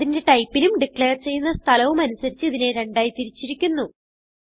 അതിന്റെ ടൈപ്പിനും ഡിക്ലേർ ചെയ്യുന്ന സ്ഥലവും അനുസരിച്ച് ഇതിനെ രണ്ടായി തിരിച്ചിരിക്കുന്നു